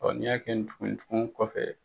n'i y'a kɛ ni tugun ye tugunw kɔfɛ